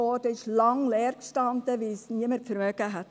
Sie stand lange Zeit leer, weil niemand sie sich leisten konnte.